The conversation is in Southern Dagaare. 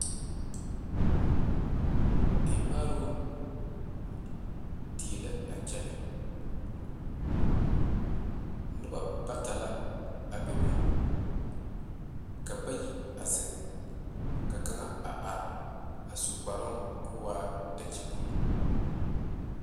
Emaaro die la a kyɛ noba bata la bebe ka bayi zeŋe ka kaŋa a are sukpara ka o dakyibulu.